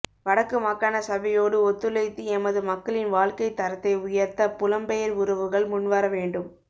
வடக்கு மாகாண சபையோடு ஒத்துழைத்து எமது மக்களின் வாழ்க்கைத் தரத்தை உயர்த்த புலம் பெயர் உறவுகள் முன்வரவேண்டும்